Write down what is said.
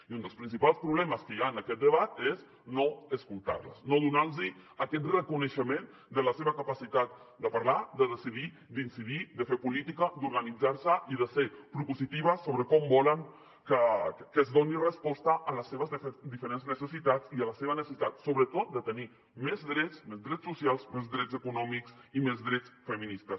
i un dels principals problemes que hi ha en aquest debat és no escoltar les no donar los aquest reconeixement de la seva capacitat de parlar de decidir d’incidir de fer política d’organitzar se i de ser propositives sobre com volen que es doni resposta a les seves diferents necessitats i a la seva necessitat sobretot de tenir més drets més drets socials més drets econòmics i més drets feministes